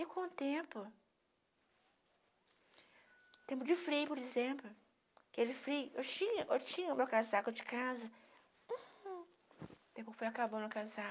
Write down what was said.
E com o tempo, o tempo de frio, por exemplo, aquele frio, eu tinha o meu casaco de casa, hm, o tempo foi acabando o casaco,